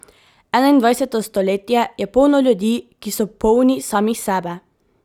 Enaindvajseto stoletje je polno ljudi, ki so polni samih sebe.